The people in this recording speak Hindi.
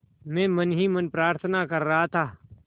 मैं मन ही मन प्रार्थना कर रहा था